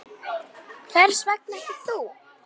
Hvers vegna ekki þú?